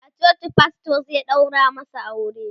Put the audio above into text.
a coci pastor zai ɗaura masu aure